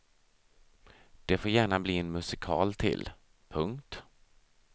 Det får gärna bli en musikal till. punkt